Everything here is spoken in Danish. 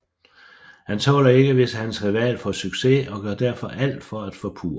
Han tåler ikke hvis hans rival får succes og gør derfor alt for at forpurre det